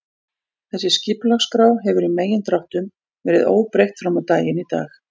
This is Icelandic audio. Þessi skipulagsskrá hefur í megindráttum verið óbreytt frammá daginn í dag.